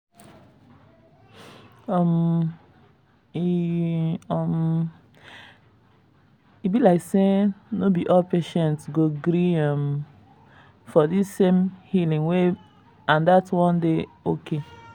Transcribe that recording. um e um be like say no be all patients go gree um for di same healing way and dat wan dey okay.